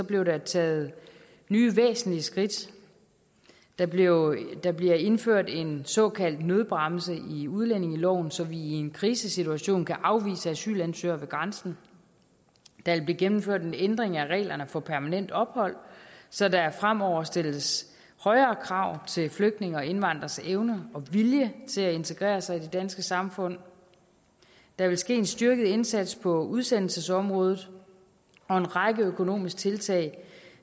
blev der taget nye væsentlige skridt der bliver der bliver indført en såkaldt nødbremse i udlændingeloven så vi i en krisesituation kan afvise asylansøgere ved grænsen der vil blive gennemført en ændring af reglerne for permanent ophold så der fremover stilles højere krav til flygtninge og indvandreres evner og vilje til at integrere sig i det danske samfund der vil ske en styrket indsats på udsendelsesområdet og en række økonomiske tiltag